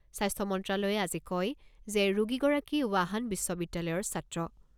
স্বাস্থ্য মন্ত্ৰালয়ে আজি কয় যে, ৰোগীগৰাকী ৱাহান বিশ্ববিদ্যালয়ৰ ছাত্ৰ।